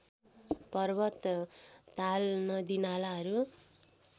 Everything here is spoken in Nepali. पर्वत ताल नदिनालाहरू